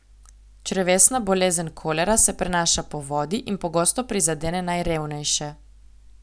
Črevesna bolezen kolera se prenaša po vodi in pogosto prizadene najrevnejše.